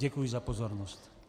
Děkuji za pozornost.